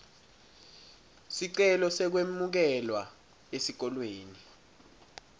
sicelo sekwemukelwa esikolweni